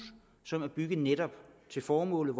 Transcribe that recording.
som er bygget netop til formålet